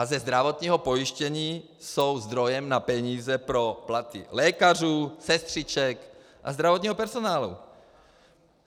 A ze zdravotního pojištění jsou zdrojem na peníze pro platy lékařů, sestřiček a zdravotního personálu.